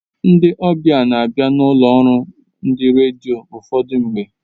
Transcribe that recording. Ndị obia na-abi n'ụlọ ọrụ ndị redio ụfọdụ mgbe.